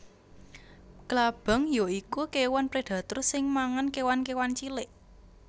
Klabang ya iku kéwan predator sing mangan kéwan kéwan cilik